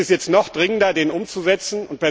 Es ist jetzt noch dringender, diesen umzusetzen.